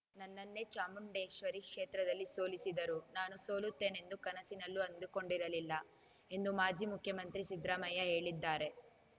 ನನ್ನನ್ನೇ ಚಾಮುಂಡೇಶ್ವರಿ ಕ್ಷೇತ್ರದಲ್ಲಿ ಸೋಲಿಸಿದರು ನಾನು ಸೋಲುತ್ತೇನೆಂದು ಕನಸಿನಲ್ಲೂ ಅಂದುಕೊಂಡಿರಲಿಲ್ಲ ಎಂದು ಮಾಜಿ ಮುಖ್ಯಮಂತ್ರಿ ಸಿದ್ರಾಮಯ್ಯ ಹೇಳಿದ್ದಾರೆ